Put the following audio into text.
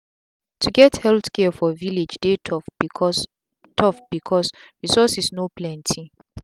to get healthcare for vilage dey tough because tough because resources no plenty.